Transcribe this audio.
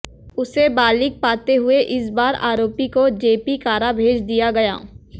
उसे बालिग पाते हुए इस बार आरोपी को जेपी कारा भेज दिया गया